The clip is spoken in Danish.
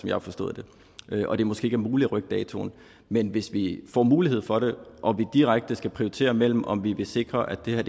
jeg har forstået det og at det måske ikke er muligt at rykke datoen men hvis vi får mulighed for det og vi direkte skal prioritere mellem om vi vil sikre at det her